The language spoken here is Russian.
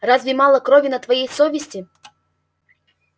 разве мало крови на твоей совести